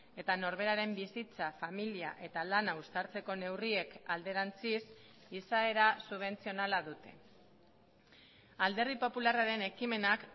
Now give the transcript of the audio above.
eta norberaren bizitza familia eta lana uztartzeko neurriek alderantziz izaera subentzionala dute alderdi popularraren ekimenak